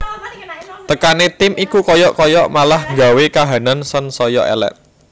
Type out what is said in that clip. Tekane tim iku kaya kaya malah nggawe kahanan sansaya elek